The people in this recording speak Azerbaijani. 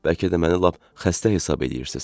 Bəlkə də məni lap xəstə hesab eləyirsiniz.